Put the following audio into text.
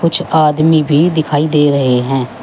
कुछ आदमी भी दिखाई दे रहे हैं।